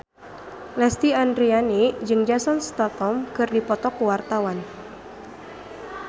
Lesti Andryani jeung Jason Statham keur dipoto ku wartawan